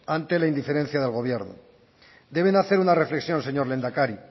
ante la indiferencia del gobierno deben hacer una reflexión señor lehendakari